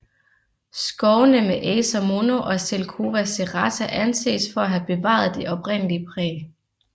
Skovene med Acer mono og Zelkova serrata anses for at have bevaret det oprindelige præg